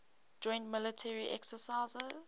joint military exercises